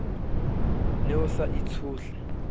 ne o sa e tshohle